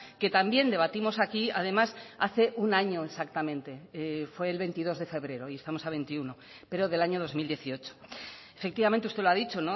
que también debatimos aquí además hace un año exactamente fue el veintidós de febrero y estamos a veintiuno pero del año dos mil dieciocho efectivamente usted lo ha dicho